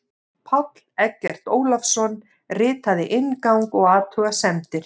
Páll Eggert Ólason ritaði inngang og athugasemdir.